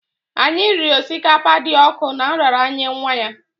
Anyị riri osikapa dị ọkụ na nraranye nwa ya